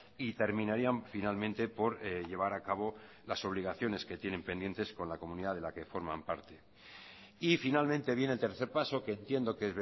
y terminarían finalmente por llevar a cabo las obligaciones que tienen pendientes con la comunidad de la que forman parte y finalmente viene el tercer paso que entiendo que